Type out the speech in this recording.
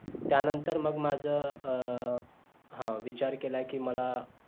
त्या नंतर मग माझं अं हा विचार केला कि मला